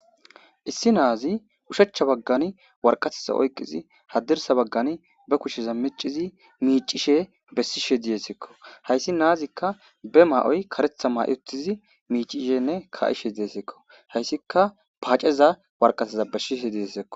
issi naazi ushechcha baggan warqatiza oyqqizi hadirsa baggan be kushsheza micizi miicishe bessishe diyesekko hayssi naazikka be ma7oy karetha ma7i ottizi miicishenne ka7ishe deesekko hayssika paaceza warqateza bessishe diyesekko